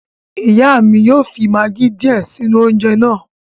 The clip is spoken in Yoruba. Ìyá mi yóò fi magí díè sínú oúnjẹ náà